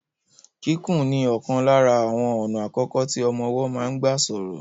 Kíkùn ni ọ̀kan lára àwọn ọ̀nà àkọ́kọ́ tí ọmọ ọwọ́ máa ń gbà sọ̀rọ̀.